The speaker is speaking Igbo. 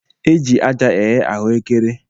E ji aja eghe ahụekere